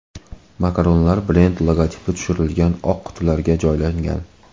Makaronlar brend logotipi tushirilgan oq qutilarga joylangan.